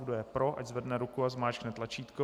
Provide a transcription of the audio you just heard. Kdo je pro, ať zvedne ruku a zmáčkne tlačítko.